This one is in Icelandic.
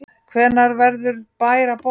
Hvenær verður bær að borg?